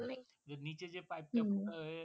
নিচে যে Pipe টা